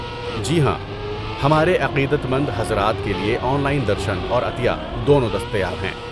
جی ہاں، ہمارے عقیدت مند حضرات کے لیے آن لائن درشن اور عطیہ دونوں دستیاب ہیں۔